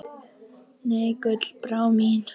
Nei, Gullbrá mín.